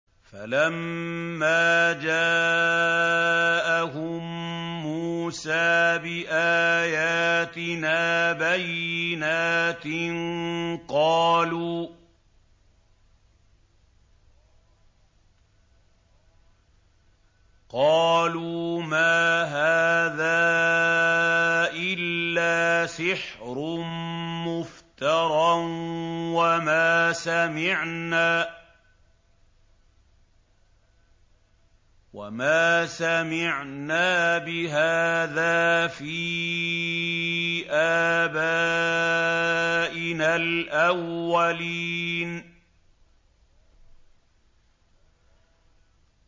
فَلَمَّا جَاءَهُم مُّوسَىٰ بِآيَاتِنَا بَيِّنَاتٍ قَالُوا مَا هَٰذَا إِلَّا سِحْرٌ مُّفْتَرًى وَمَا سَمِعْنَا بِهَٰذَا فِي آبَائِنَا الْأَوَّلِينَ